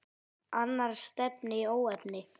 Annars stefni í óefni.